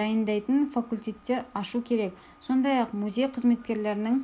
дайындайтын факультеттер ашу керек сондай-ақ музей қызметкерлерінің